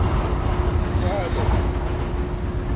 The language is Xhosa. uphalo